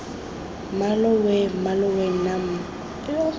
mmalooo weeee mmaloo nna weee